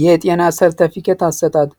የጤና ሰርተፊኬት አሰጣጥ